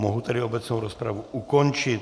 Mohu tedy obecnou rozpravu ukončit.